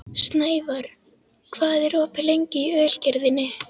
Snævarr, hvað er opið lengi í Ölgerðinni?